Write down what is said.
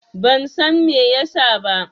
Ban San Mai ya sa ba.